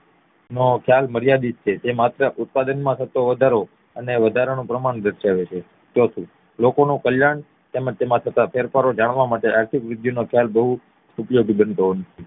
નો સાલ માર્યાદિત છે જે માત્ર ઉત્પાદન માં થતો વધારો અને વધારાનું પ્રમાણ દાર્શવે છે ચોથું લોકોનું કલ્યાણ અને તેમાં થતું ફેરફારો જાણવા માટે આર્થિક વૃદ્ધિ નો ખ્યાલ ખુબ ઉપયોગી બનતો નથી